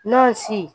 N'o si